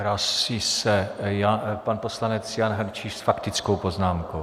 Hlásí se pan poslanec Jan Hrnčíř s faktickou poznámkou.